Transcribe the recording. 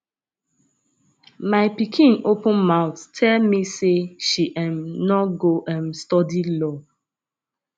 my pikin open mouth tell me say she um no go um study law